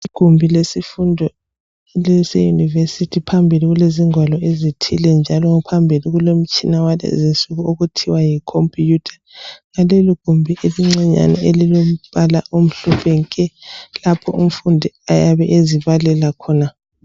Igumbi lesifundo leseYunivesi. Phambili kulengwalo ezithile njalo phambili kulomtshina walezi insuku okuthiwa yikhompiyutha yaleli gumbi elincinyane elilombala omhlophe nke lapho umfundi ayabe ezibalela khona.